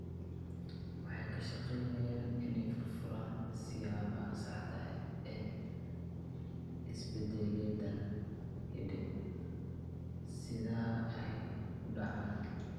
Waxay ka shaqaynayaan inay furfuraan siyaabaha saxda ah ee isbeddelladan hidde-sidaha ahi u dhacaan.